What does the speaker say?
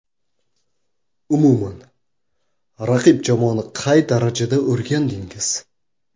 Umuman raqib jamoani qay darajada o‘rgandingiz?